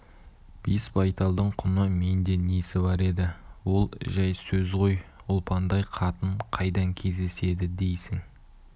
бес байталдың құны менде несі бар еді ол жай сөз ғой ұлпандай қатын қайдан кездеседі дейсің